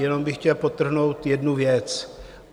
Jenom bych chtěl podtrhnout jednu věc.